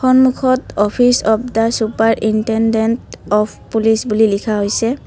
সন্মুখত office of the superintendent of police বুলি লিখা হৈছে।